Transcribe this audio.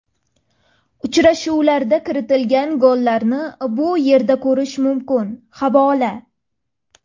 Uchrashuvlarda kiritilgan gollarni bu yerda ko‘rish mumkin havola .